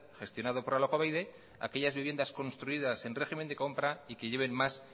gestionado por alokabide aquellas viviendas construidas en régimen de compra y que lleven más